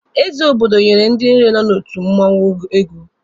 Eze Obodo nyere ndị niile nọ n'otu mmụọnwụ ego